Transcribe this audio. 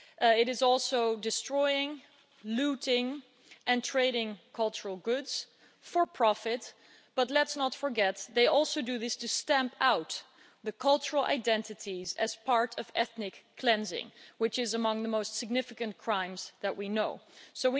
It is also destroying, looting and trading cultural goods for profit, but let's not forget that they also do this to stamp out cultural identities as part of ethnic cleansing, which is among the most significant crimes that we know of.